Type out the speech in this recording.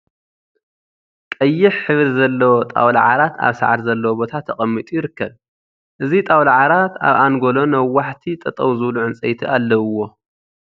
ቀይሕ ሕብሪ ዘለዎ ጣውላ ዓራት ኣብ ሳዕሪ ዘለዎ ቦታ ተቀሚጡ ይርከብ። እዚ ጣውላ ዓራት ኣብ ኣንጎሎ ነዋሕቲ ጠጠው ዝብሉ ዕንፀይቲ ኣለውዎ።